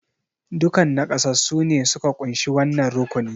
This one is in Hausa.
Dukan naƙasassu ne suka kunshi wannan rukuni